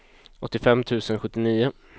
åttiofem tusen sjuttionio